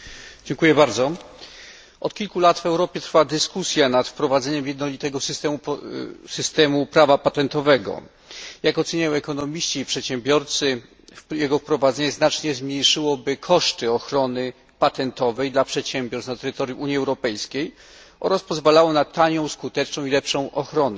Panie Przewodniczący! Od kilku lat w Europie trwa dyskusja nad wprowadzeniem jednolitego systemu prawa patentowego. Jak oceniają ekonomiści i przedsiębiorcy, jego wprowadzenie znacznie zmniejszyłoby koszty ochrony patentowej dla przedsiębiorstw na terytorium Unii Europejskiej oraz pozwalało na tanią, skuteczną i lepszą ochronę.